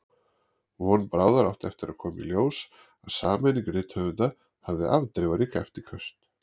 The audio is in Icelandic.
Von bráðar átti eftir að koma í ljós að sameining rithöfunda hafði afdrifarík eftirköst.